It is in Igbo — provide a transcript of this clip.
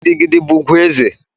Gidi Gidi bụ ùgwù ezé.